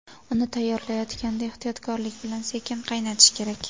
Uni tayyorlayotganda ehtiyotlik bilan sekin qaynatish kerak.